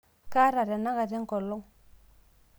kaata tenakata engolong'